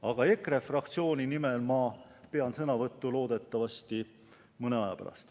Aga EKRE fraktsiooni nimel pean ma sõnavõttu loodetavasti mõne aja pärast.